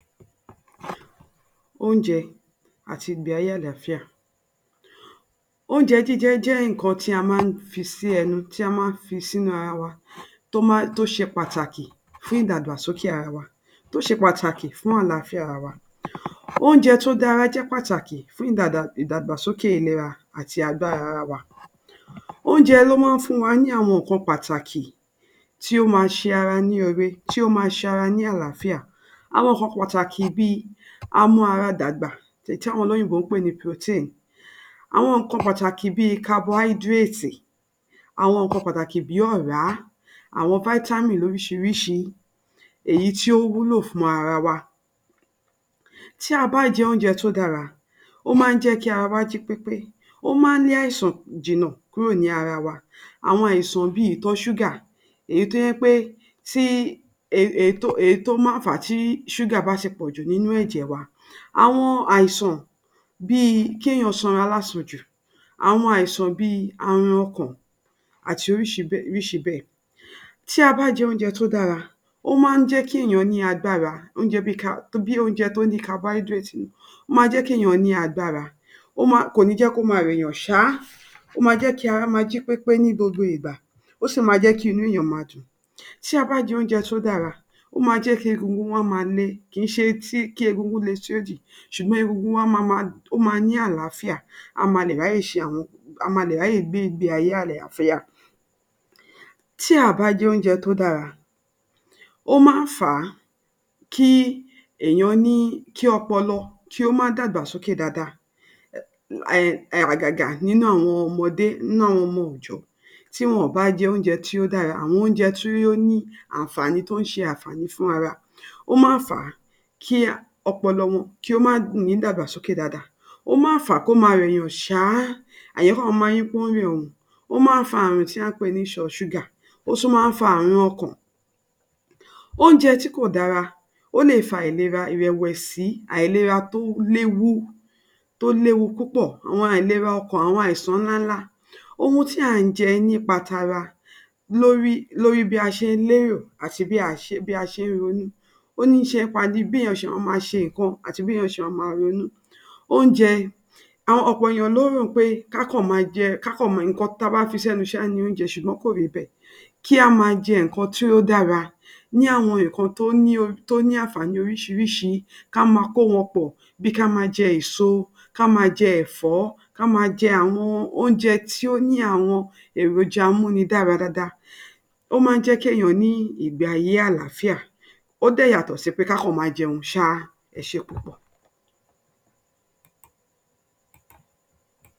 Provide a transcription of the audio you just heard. Oúnjẹ àti ìgbé ayé àlàáfíà. Oúnjẹ jíjẹ jẹ́ nǹkan tí a máa ń a fi sí ẹnu tí a máa ń fi sínú ara wa to máa tó ṣe pàtàkí fún idagbasoke ara wa tó ṣe pàtàkí fún àlàáfíà ara wa. Oúnjẹ tó dára ṣe pàtàkì fún ìdàgba sókè ìlera àti àgọ́ ara wa. Oúnjẹ ló màa ǹ fun wa ní àwọn nǹkan pàtàkì tó máa ń ṣe ara lóore, tó máa ǹ ṣe ara ní àlàáfíà. Àwọn nǹkan pàtàkì bí amú ara dàgbà tì àwọn olóyìnbó ń pè ni protein, àwọn nǹkan pàtàkì bíi carbohydrate, àwọn nǹkan pàtàkí bí ọ̀rá, àwọn [cs vitamin lóríṣiríṣi bíi èyí tí yó wúlò fún ara wa. Tí a bá jẹ oúnjẹ tó dára, máa ń jẹ́ kí ara wá jí pépé, ó máa ń lé àìsàn kúrò ní ara wa. Àwọn àìsàn bíi ìtọ̀ ṣúgà, èyí tó jẹ́ pe ti tó máa ń fà á ti ṣúgà bá ti pọ̀ jù nínú ẹ̀jẹ̀ wa. Àwọn àìsàn tó jẹ́ wí pé ó máa ń jẹ́ kí è nìyàn sanra lásanjù. Àwọn àìsàn bíi àrunkùn ati bíi oríṣìí bẹ́ẹ̀ oríṣìí bẹ́ẹ̀. Tí a bá j’oúnjẹ tó dára, ó máa ń jẹ́ kí èyàn ni ágbára, oúnjẹ carbon oúnjẹ tó ní [cs[ carbohydrate nínú, wọn á jẹ́ kí ènìyàn ní agbára, wọ́n máa. Kò ní jẹ́ kó máa rẹ̀ǹyán ṣá, wọn a jẹ́ kí gbogbo ara jí pépé ní gbogbo ìgbà, o sì máa jẹ́ kí inú ènìyan máa dùn ṣáá. Tí a bá j’oúnjẹ tó dára ó máa jẹ́ kí egungun wa le, kò ní jẹ́ kó máa rẹ̀ ‘nìyàn, egungun wa máa ní àlàáfíà, a máa lè ráyé ṣe ‘hun, a máa lè gbé ìgbé ayé àlàáfíà. Tá ò bá jẹ oúnjẹ tó dára ó máa ń fà a kí ènìyàn ní kí ọpọlọ má dàgbà sókè dáradára. Hẹ-in hẹ-in àgàgà nínú ọmọdé ninu awon ọmọ òòjọ́ tí ó bá jẹ oúnjẹ tó dára àwọn oúnjẹ tó ni àǹfàní tó ń ṣe àǹfàní fún ara wa, ó máa ń fàá kí ọpọlọ wọn kó ma ni ìdàgbàsókè dáadáa. Ò máa ń fà á kó máa rẹ̀yàn ṣá àwọn èyàn màa ló rẹ ‘un, ó máa ń fa nǹkan tí a pè nítọ ṣúgà, ó sì máa ń fa ààrùn ọkàn. Oùnjẹ tì kò dàra, ó lè fa àìlera ìrẹ̀wẹ̀sì. Àìlera tó léwu tó léwu púpọ̀, awon àìlera ọkan, àwọn àìsàn ńlá ńlá. Ohun tí à ń jẹ nípa tara lórí bí a ṣe lérò àti bí a ṣe ń ronú. Oníṣe nípa bí ènìyàn ṣe máa ṣe nǹkan ati béèyàn ṣe máa ronú. Oúnjẹ, ọ̀pọ̀ èèyàn ló rò ó pé ká kàn máa jẹun, ká kàn máa mu, ohun tí a bá fi ṣénu ṣáá ni oúnjẹ, ṣùgbọ́n kó rí bẹ́ẹ̀. Kí a máa jẹ ohùn kan tí ó dára ní àwọn nǹkan tó ní àǹfàní lóríṣiríṣi ká máa kó wọn pọ̀, bíi ká máa jẹ èso, ká máa jẹ ẹ̀fọ́ kí á máa jẹ àwọn oúnjẹ tó ní àwọn èròja amunidara dáadáa. Ó máa ǹ jẹ́ kí èèyàn ní ìgbé ayé àlààfíà, ó dẹ̀ yàtọ̀ si kí a si máa jẹun sáá. Ẹ ṣeun púpọ̀.